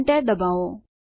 Enter દબાવો